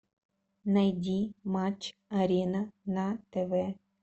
найди матч арена на тв